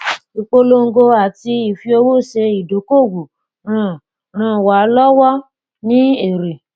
ìpolongo àti ìfiowó ṣe ìdókòòwò ran ran wa lọwọ ní èrè